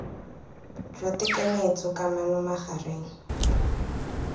jwa tekanyetso d kamano magareng